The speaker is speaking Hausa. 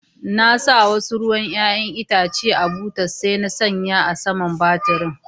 Na sa wasu ruwan yayan Itace a cikin butar, sai na sa a sama'n taburin.